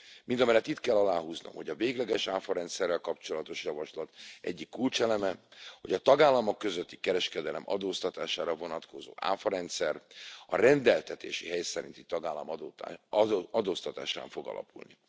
Mindemellett itt kell aláhúznom, hogy a végleges áfarendszerrel kapcsolatos javaslat egyik kulcseleme, hogy a tagállamok közötti kereskedelem adóztatására vonatkozó áfarendszer a rendeltetési hely szerinti tagállam adóztatásán fog alapulni.